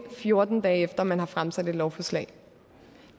fjorten dage efter at man har fremsat lovforslaget